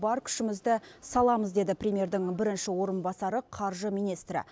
бар күшімізді саламыз деді премьердің бірінші орынбасары қаржы министрі